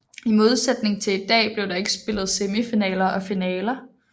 I modsætning til i dag blev der ikke spillet semifinaler og finaler